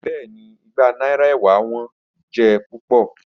Bẹẹni, igba naira ewa wọn jẹ pupọ.